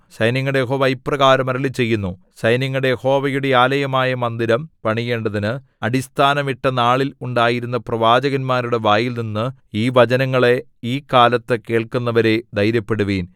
സൈന്യങ്ങളുടെ യഹോവ ഇപ്രകാരം അരുളിച്ചെയ്യുന്നു സൈന്യങ്ങളുടെ യഹോവയുടെ ആലയമായ മന്ദിരം പണിയേണ്ടതിന് അടിസ്ഥാനം ഇട്ട നാളിൽ ഉണ്ടായിരുന്ന പ്രവാചകന്മാരുടെ വായിൽനിന്ന് ഈ വചനങ്ങളെ ഈ കാലത്ത് കേൾക്കുന്നവരേ ധൈര്യപ്പെടുവിൻ